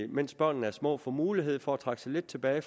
mens børnene er små får mulighed for at trække sig lidt tilbage